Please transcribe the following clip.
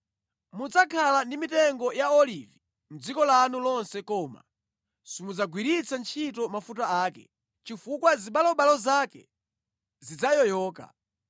Mudzakhala ndi mitengo ya olivi mʼdziko lanu lonse koma simudzagwiritsa ntchito mafuta ake, chifukwa zipatso zake zidzayoyoka.